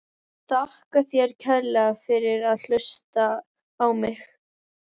Þakka þér kærlega fyrir að hlusta á mig!?